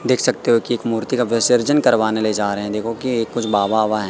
देख सकते हो कि एक मूर्ति का विसर्जन करवाने ले जा रहें हैं देखो की कुछ बाबा ओबा हैं।